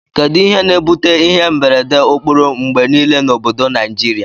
Kedu ihe na ebute ihe mberede okporo ngbe nile na obodo nigiria?